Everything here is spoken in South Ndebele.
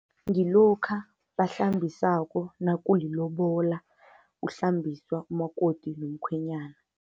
Ngilokha bahlambisako nakulilobola, kuhlambiswa umakoti nomkhwenyana.